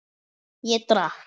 Ég drakk.